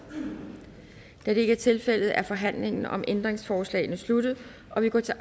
da det ikke er tilfældet er forhandlingen om ændringsforslagene sluttet og vi går til